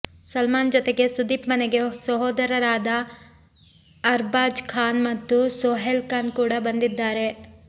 ಸಲ್ಮಾನ್ ಜೊತೆಗೆ ಸುದೀಪ್ ಮನೆಗೆ ಸಹೋದರರಾದ ಅರ್ಬಾಜ್ ಖಾನ್ ಮತ್ತು ಸೊಹೈಲ್ ಖಾನ್ ಕೂಡ ಬಂದಿದ್ದಾರೆ